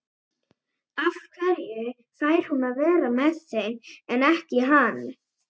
Af hverju fær hún að vera með þeim en ekki hann?